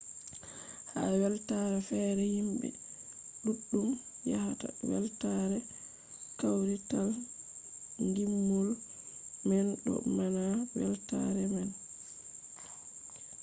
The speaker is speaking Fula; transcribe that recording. ha weltaare fere himɓe ɗuɗɗum yahata weltare kawrital ngimol man ɗo mana weltaare man